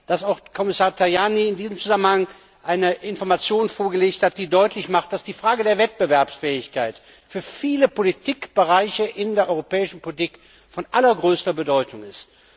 dass auch Kommissar Tajani in diesem Zusammenhang eine Information vorgelegt hat, die deutlich macht, dass die Frage der Wettbewerbsfähigkeit für viele Bereiche der europäischen Politik von allergrößter Bedeutung ist.